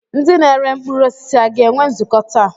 Ndị na-ere mkpụrụ osisi a ga-enwe nzukọ taa?